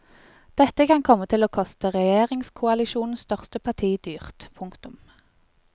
Dette kan komme til å koste regjeringskoalisjonens største parti dyrt. punktum